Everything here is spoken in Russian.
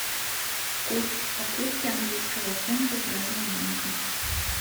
курс покупки английского фунта в разных банках